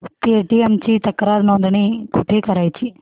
Paytm ची तक्रार नोंदणी कुठे करायची